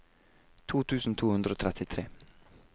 to tusen to hundre og trettitre